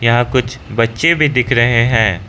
यहां कुछ बच्चे भी दिख रहे हैं।